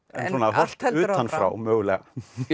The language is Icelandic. horft utan frá mögulega